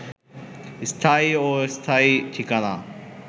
স্থায়ী ও অস্থায়ী ঠিকানা